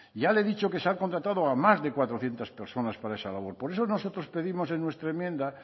ya le he dicho que se ha contratado a más de cuatrocientos personas para esa labor por eso nosotros pedimos en nuestra enmienda